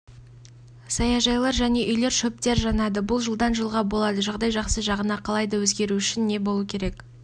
саяжайлар және үйлер шөптер жанады бұл жылдан жылға болады жағдай жақсы жағына қалай да өзгеруі үшін не болуы керек